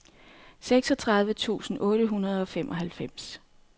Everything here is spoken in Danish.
seksogtredive tusind otte hundrede og femoghalvfems